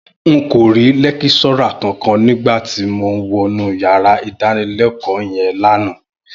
N kò rí lẹ́kíṣọ́rà kankan nígbà tí mo wọnú yàrá ìdánilẹ́kọ̀ọ́ yẹn lánàá